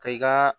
Ka i ka